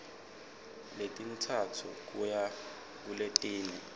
letintsatfu kuya kuletine